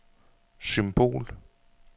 symbol